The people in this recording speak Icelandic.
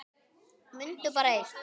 Mundu bara eitt.